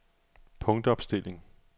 punktopstilling